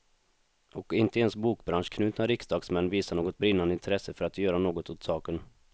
Och inte ens bokbranschanknutna riksdagsmän visar något brinnande intresse för att göra något åt saken.